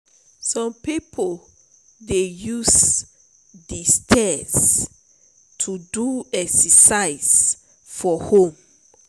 some people dey use de stairs to do exercise for home.